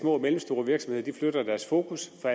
små og mellemstore virksomheder flytter deres fokus fra